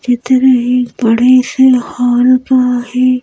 चित्र एक बड़े से हाल का है ।